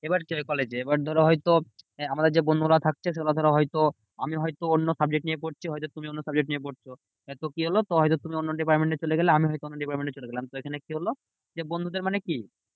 এবার কলেজে এবার ধরো হয়তো আমাদের যে বন্ধুরা থাকছে আমি হয়তো অন্য subject নিয়ে পড়ছি হয়তো তুমি অন্য subject নিয়ে পড়ছো। এ তো কি হলো? তো হয়তো তুমি অন্য department এ চলে গেলে। আমি হয়তো অন্য department চলে গেলাম। সেখানে কি হলো? যে বন্ধুদের মানে কি